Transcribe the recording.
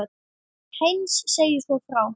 Heinz segir svo frá